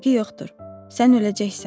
Fərqi yoxdur, sən öləcəksən.